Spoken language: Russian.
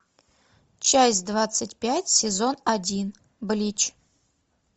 часть двадцать пять сезон один блич